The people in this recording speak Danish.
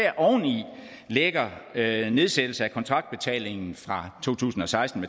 lægger nedsættelse af kontraktbetalingen fra to tusind og seksten